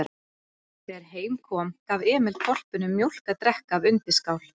Þegar heim kom gaf Emil hvolpinum mjólk að drekka af undirskál.